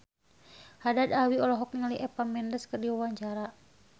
Haddad Alwi olohok ningali Eva Mendes keur diwawancara